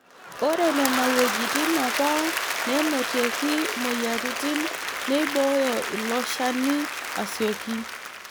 Ore Nena wuejitin APA neenotieki mmoyiaritin neibooyo iloshani asioki.